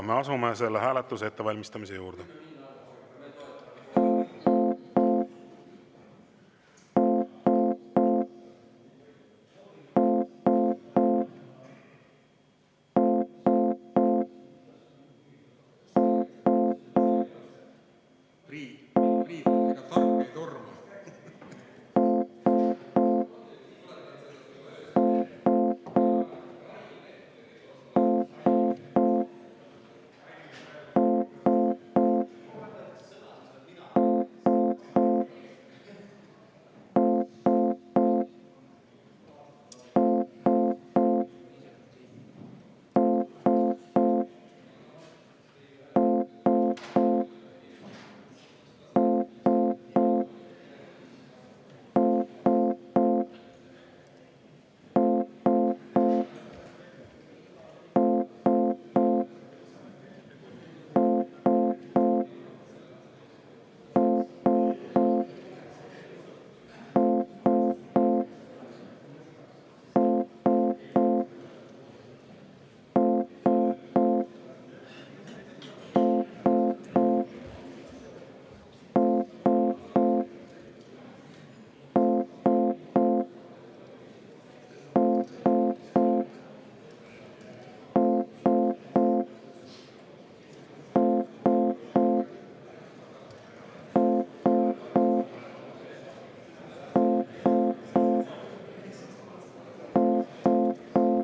Me asume selle hääletuse ettevalmistamise juurde.